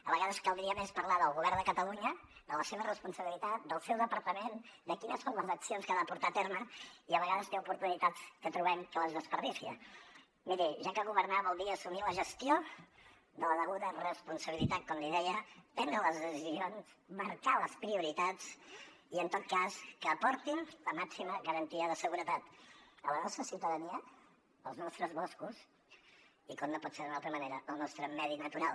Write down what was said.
a vegades caldria més parlar del govern de catalunya de la seva responsabilitat del seu departament de quines són les accions que ha de portar a terme i a vegades té oportunitats que trobem que les desperdicia miri ja que governar vol dir assumir la gestió de la deguda responsabilitat com li deia prendre les decisions marcar les prioritats i en tot cas que aportin la màxima garantia de seguretat a la nostra ciutadania als nostres boscos i com no pot ser d’una altra manera al nostre medi natural